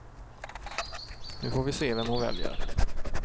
Nu får vi se vem hon väljer.